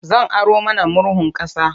Zan aro mana murhun ƙasa.